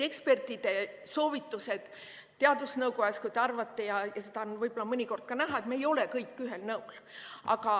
Ekspertide soovitused teadusnõukojas – seda on mõnikord ka näha, et me ei ole alati ühel nõul.